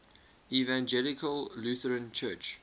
evangelical lutheran church